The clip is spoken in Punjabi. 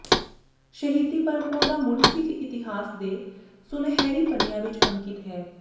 ਸ਼ਹੀਦੀ ਪਰੰਪਰਾ ਦਾ ਮੁੱਢ ਸਿੱਖ ਇਤਿਹਾਸ ਦੇ ਸੁਨਹਿਰੀ ਪੰਨਿਆਂ ਵਿਚ ਅੰਕਿਤ ਹੈ